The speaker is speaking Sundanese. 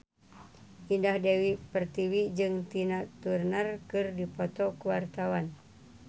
Indah Dewi Pertiwi jeung Tina Turner keur dipoto ku wartawan